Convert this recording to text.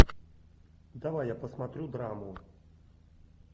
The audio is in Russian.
давай я посмотрю драму